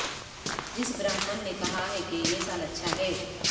جس برہمن نے کہا ہے کہ یہ سال اچھا ہے